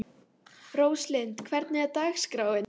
Róslind, hvernig er dagskráin?